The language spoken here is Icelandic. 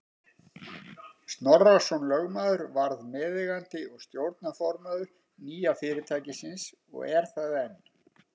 Snorrason lögmaður varð meðeigandi og stjórnarformaður nýja fyrirtækisins og er það enn.